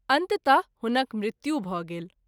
अन्तत: हुनक मृत्यु भ’ गेल।